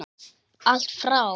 Allt frá